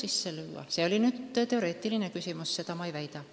Aga see on teoreetiline küsimus, seda ma ei väida.